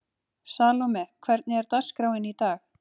Salome, hvernig er dagskráin í dag?